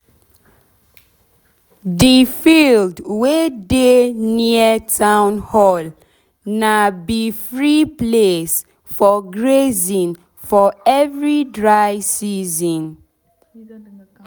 d field wey dey near town hall na be free place for grazing for every dry season.